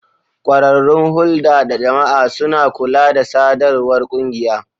Kwararrun hulda da jama'a suna kula da sadarwar kungiya.